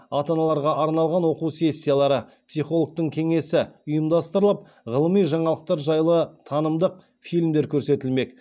ата аналарға арналған оқу сессиялары психологтың кеңесі ұйымдастырылып ғылыми жаңалықтар жайлы танымдық фильмдер көрсетілмек